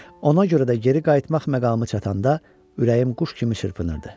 Ona görə də geri qayıtmaq məqamı çatanda ürəyim quş kimi çırpınırdı.